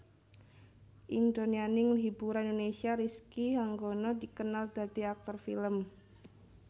Ing donyaning hiburan Indonesia Rizky Hanggono dikenal dadi aktor film